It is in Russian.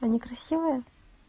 они красивые